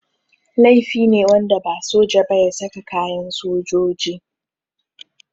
Laifi ne wanda ba soja ba ya saka kayan sojoji.